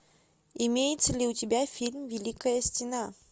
имеется ли у тебя фильм великая стена